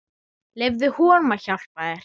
Leyfðu honum að hjálpa þér.